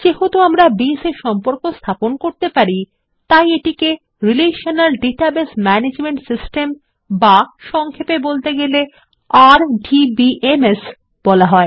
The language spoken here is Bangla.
যেহেতু আমরা বেস এ সম্পর্ক স্থাপন করতে পারি এটিকে একটি রিলেশনাল ডাটাবেজ ম্যানেজমেন্ট সিস্টেম বা সংক্ষেপে বলতে গেলে আরডিবিএমএস বলা হয়